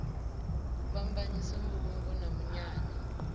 u fhambanyisa mbulungo na munyanya